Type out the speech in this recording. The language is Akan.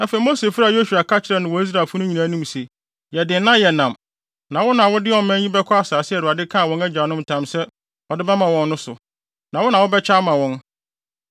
Afei, Mose frɛɛ Yosua ka kyerɛɛ no wɔ Israelfo no nyinaa anim se, “Yɛ den na yɛ nnam, na wo na wode ɔman yi bɛkɔ asase a Awurade kaa wɔn agyanom ntam sɛ ɔde bɛma wɔn no so; na wo na wobɛkyɛ ama wɔn.